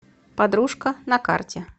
подружка на карте